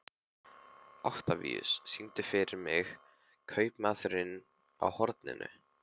Oktavíus, syngdu fyrir mig „Kaupmaðurinn á horninu“.